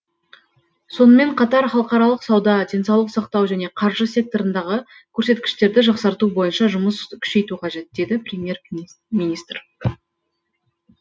сонымен қатар халықаралық сауда денсаулық сақтау және қаржы секторындағы көрсеткіштерді жақсарту бойынша жұмыс күшейту қажет деді премьер министр